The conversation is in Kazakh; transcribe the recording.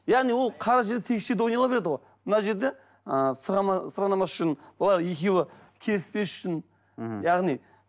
яғни ол қара жер тегіс жерде ойнала береді ғой мына жерде ы сырғанамас үшін олар екеуі келіспес үшін мхм яғни